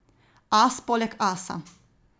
As poleg asa.